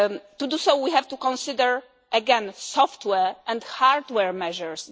To do so we have to consider again software and hardware measures.